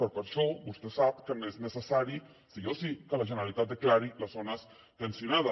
però per això vostè sap que no és necessari sí o sí que la generalitat declari les zones tensionades